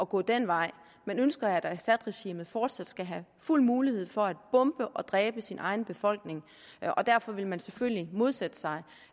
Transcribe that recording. gå den vej men ønsker at assadregimet fortsat skal have fuld mulighed for at bombe og dræbe sin egen befolkning derfor ville man jo selvfølgelig modsætte sig